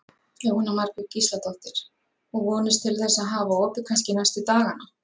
Jóhanna Margrét Gísladóttir: Og vonist til þess að hafa opið kannski næstu dagana?